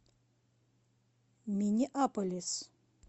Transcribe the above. миннеаполис